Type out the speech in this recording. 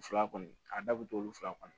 Fila kɔni a da bɛ t'o fila kɔnɔ